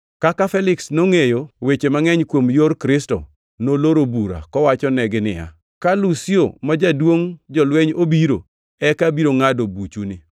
Kaka Feliks nongʼeyo weche mangʼeny kuom Yor Kristo, noloro bura, kowachonegi niya, “Ka Lusio ma jaduongʼ jolweny obiro, eka abiro ngʼado buchuni.”